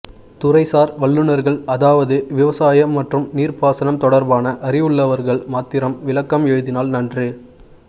துறைசார் வல்லுநர்கள் அதாவது விசாயம் மற்றும் நீர்ப்பாசணம் தொடர்பான அறிவூள்ளவர்கள் மாத்திரம் விளக்கம் எழுதினால் நன்று